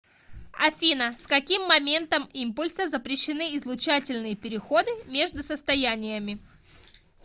афина с каким моментом импульса запрещены излучательные переходы между состояниями